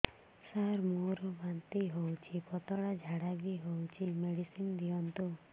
ସାର ମୋର ବାନ୍ତି ହଉଚି ପତଲା ଝାଡା ବି ହଉଚି ମେଡିସିନ ଦିଅନ୍ତୁ